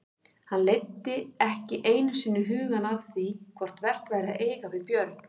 Hann leiddi ekki einu sinni hugann að því hvort vert væri að eiga við Björn.